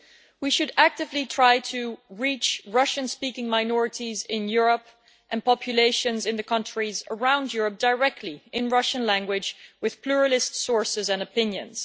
We should actively try to reach Russian speaking minorities in Europe and populations in the countries around Europe directly in Russian language with pluralist sources and opinions.